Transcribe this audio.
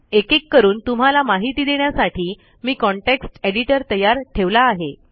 एकेक करून तुम्हाला माहिती देण्यासाठी मी कॉन्टेक्स्ट editorतयार ठेवला आहे